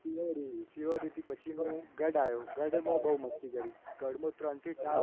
શિહોરી શિવાડીટી પછીનું ગઢ આયો. ગઢમાં બહુ મસ્તી કરી. ગઢવીમાં ત્રણથી ચાર વર્ષ અમે રહેલા.